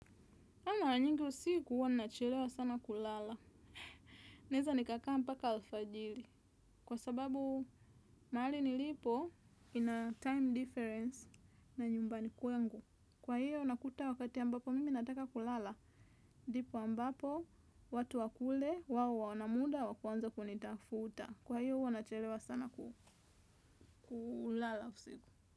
Mimi mara nyingi usiku huwa nachelewa sana kulala. Neza nikakaa mpaka alfajili. Kwa sababu mahali nilipo mina time difference na nyumbani kwangu. Kwa hiyo nakuta wakati ambapo mimi nataka kulala. Ndipo ambapo, watu wa kule, wao wana muda, wa kuanza kunitafuta. Kwa hiyo huwa nachelewa sana kulala usiku.